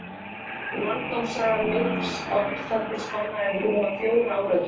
Landnámssaga minks á Íslandi spannaði rúma fjóra áratugi.